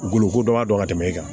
Goloko dɔ b'a tɛmɛ i kan